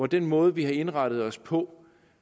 den måde vi har indrettet os på